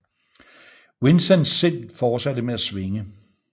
Vincents sind fortsatte med at svinge